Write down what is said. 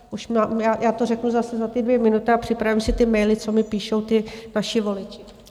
Já to řeknu zase za ty dvě minuty a připravím si ty maily, co mi píšou ti vaši voliči.